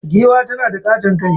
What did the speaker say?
Giwa tanada katon kai.